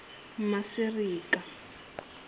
masireka